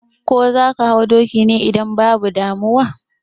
Ko zaka hau dokin ne? Idan babu damuwa